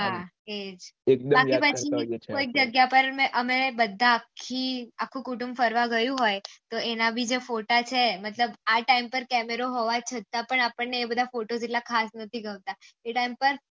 હા એજ